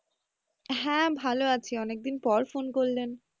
হ্যাঁ ভালো আছি অনেকদিন পর phone করলেন?